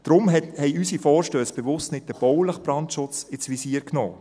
Deshalb haben unsere Vorstösse bewusst nicht den baulichen Brandschutz ins Visier genommen.